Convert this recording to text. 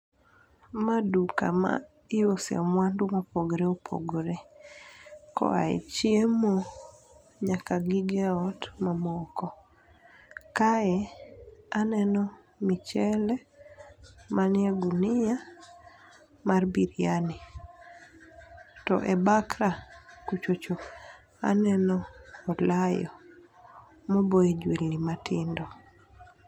Ma duka ma iuse mwandu mopogore opogore, koae chiemo, nyaka gige ot mamoko. Kae aneno michele, manie gunia mar biryani. To e bakra kucho cho aneno olayo ma oboye jwendi matindo.